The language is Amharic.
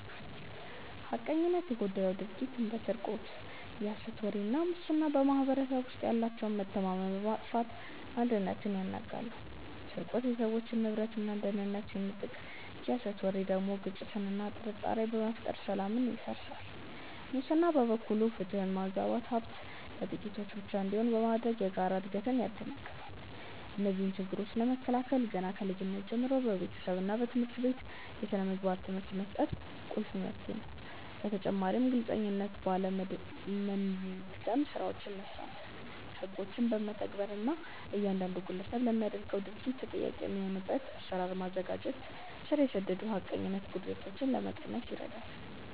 ሐቀኝነት የጎደለው ድርጊት እንደ ስርቆት፣ የሐሰት ወሬ እና ሙስና በማኅበረሰቡ ውስጥ ያለውን መተማመን በማጥፋት አንድነትን ያናጋሉ። ስርቆት የሰዎችን ንብረትና ደህንነት ሲነጥቅ፣ የሐሰት ወሬ ደግሞ ግጭትንና ጥርጣሬን በመፍጠር ሰላምን ያደፈርሳል። ሙስና በበኩሉ ፍትህን በማዛባትና ሀብት ለጥቂቶች ብቻ እንዲሆን በማድረግ የጋራ እድገትን ያደናቅፋል። እነዚህን ችግሮች ለመከላከል ገና ከልጅነት ጀምሮ በቤተሰብና በትምህርት ቤት የሥነ ምግባር ትምህርት መስጠት ቁልፍ መፍትሄ ነው። በተጨማሪም ግልጽነት ባለ መንደምገድ ስራዎችን መስራት፣ ህጎችን መተግበር እና እያንዳንዱ ግለሰብ ለሚያደርገው ድርጊት ተጠያቂ የሚሆንበትን አሰራር ማዘጋጀት ስር የሰደዱ የሐቀኝነት ጉድለቶችን ለመቀነስ ይረዳል።